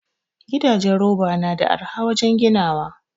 Gidajen roba nada arha wajan ginawa